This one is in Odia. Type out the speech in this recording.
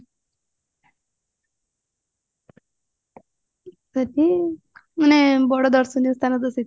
ସେଠି ମାନେ ବଡ ଦର୍ଶନୀୟ ସ୍ଥାନ ତ ସେଠି